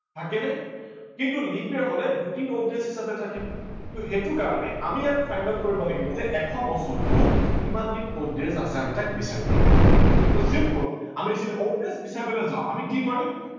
থাকে নে কিন্তু leap year হলে দুদিন odd days হিচাপে থাকে। তহ সেইটো কাৰনে আমি ইয়াত find out কৰিব লাগিব যে এশ বছৰটোত কিমান দিন odd days আছে আমি তাক বিচাৰি উলিয়াব লাগিব । simple আমি যদি odd days বিচাৰিবলৈ যাও আমি কি কৰিম